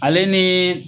Ale ni